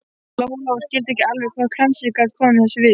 Lóa-Lóa skildi ekki alveg hvað kransinn gat komið þessu við.